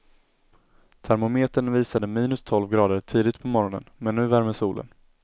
Termometern visade minus tolv grader tidigt på morgonen, men nu värmer solen.